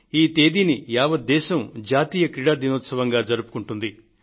ఈ తేదీని యావత్ దేశం జాతీయ క్రీడా దినోత్సవంగా జరుపుకుంటుంది